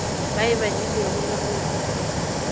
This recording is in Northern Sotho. ba e badilego le go